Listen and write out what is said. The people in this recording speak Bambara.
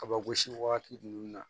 Kabagosi wagati ninnu na